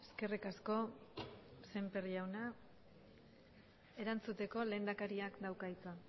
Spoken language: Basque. eskerrik asko sémper jauna erantzuteko lehendakariak dauka hitza